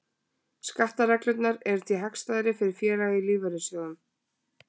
Skattareglurnar eru því hagstæðar fyrir félaga í lífeyrissjóðum.